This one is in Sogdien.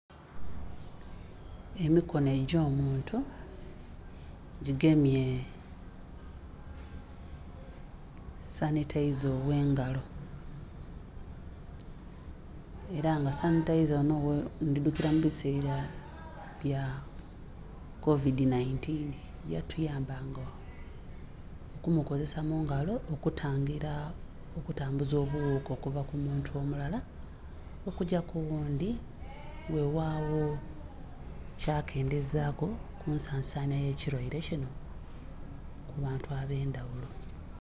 Emikonho egyo muntu gigemye sanhiteeza oghengalo era nga sanhiteeza onho ndhidhukira mubisera bya kovidhi nhaintinhi yatuyamba nga okumokuzesa mungalo okutangera okutambuza obughuka okuva ku muntu omulala okugya kughundhi ghegha gho kyakendheza ku ensansanhya eye kirweire kinho mubantu abendha ghulo